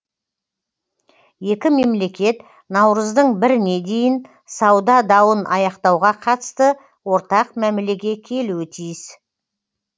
екі мемлекет наурыздың біріне дейін сауда дауын аяқтауға қатысты ортақ мәмілеге келуі тиіс